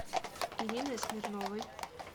ириной смирновой